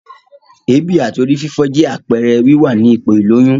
Èébì àti orí fífọ́ jẹ́ àpẹẹrẹ wíwà ni ipò ìlóyún.